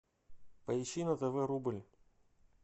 поищи на тв рубль